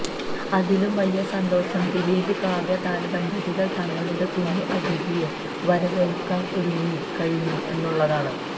അതിലും വലിയ സന്തോഷം ദിലീപ് കാവ്യാ താരദമ്പതികൾ തങ്ങളുടെ കുഞ്ഞു അതിഥിയെ വരവേൽക്കാൻ ഒരുങ്ങി കഴിഞ്ഞു എന്നുള്ളതാണ്